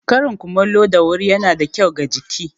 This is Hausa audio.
Karin kumallo da wuri ya na da kyau ga jiki.